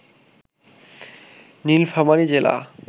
নীলফামারী জেলা